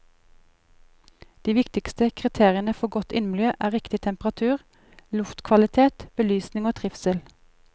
De viktigste kriteriene for godt innemiljø er riktig temperatur, luftkvalitet, belysning og trivsel.